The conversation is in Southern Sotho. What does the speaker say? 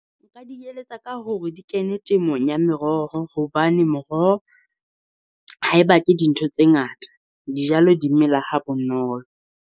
Nka di eletsa ka hore di kene temong ya meroho. Hobane moroho, ha e batle ke dintho tse ngata, dijalo di mela ha bonolo.